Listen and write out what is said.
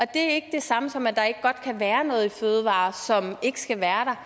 det samme som at der ikke godt kan være noget i fødevarer som ikke skal være der